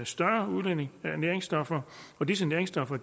større udledning af næringsstoffer og disse næringsstoffer